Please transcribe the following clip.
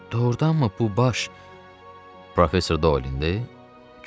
Doğurdanmı bu baş Professor Dolindir?